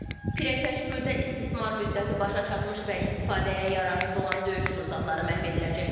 Pirəkəş güldə istismar müddəti başa çatmış və istifadəyə yararsız olan döyüş sursatları məhv ediləcək.